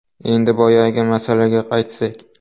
Endi boyagi masalaga qaytsak.